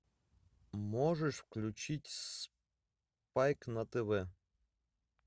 можешь включить спайк на тв